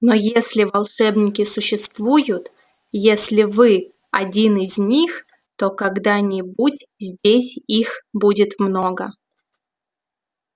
но если волшебники существуют если вы один из них то когда-нибудь здесь их будет много